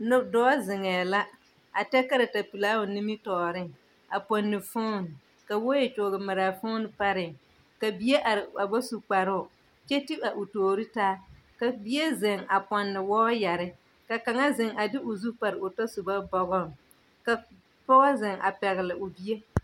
Lop! dɔɔ zeŋɛɛ la, a tɛɛ karatapelaa o nimitɔɔreŋ a pɔnne foon ka wɔɔyɛ kyɔgemare a foon paree. Ka bie ar a ba su kparoo kyɛ ti a o toori taa. Ka bie zeŋ a pɔnne wɔɔyare. Ka kaŋa zeŋ a de o zu par o tasoba bɔgɔŋ. Ka pɔɔ zeŋ a pɛgele o bie.